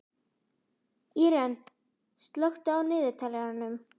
Íren, slökktu á niðurteljaranum.